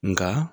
Nka